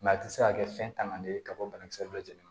a tɛ se ka kɛ fɛn tanganen ye ka bɔ banakisɛ dɔ jeni na